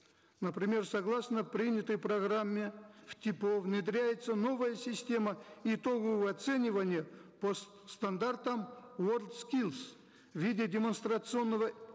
например согласно принятой программе в типо внедряется новая система итогового оценивания по стандартам уорлд скиллс в виде демонстрационного